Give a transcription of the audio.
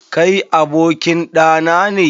Kai abokin ɗa nane?